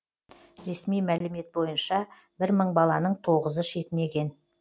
ресми мәлімет бойынша бір мың баланың тоғызы шетінеген